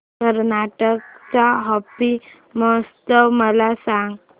कर्नाटक चा हम्पी महोत्सव मला सांग